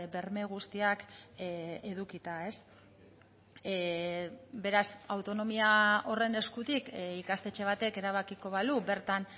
berme guztiak edukita beraz autonomia horren eskutik ikastetxe batek erabakiko balu bertan